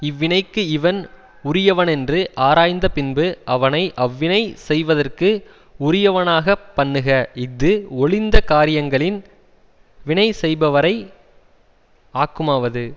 இவ்வினைக்கு இவன் உரியவனென்று ஆராய்ந்த பின்பு அவனை அவ்வினை செய்வதற்கு உரியவனாக பண்ணுக இஃது ஒழிந்த காரியங்களின் வினை செய்பவரை ஆக்குமாவது